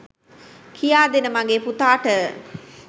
කියාදෙන්න මගේ පුතාට